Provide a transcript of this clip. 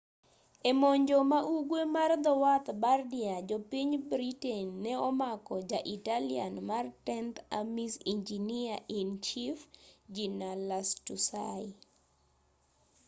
e monjo ma-ugwe mar dhowath bardia jopiny britain ne omako ja italian mar tenth army's engineer-in-chief jener lastucci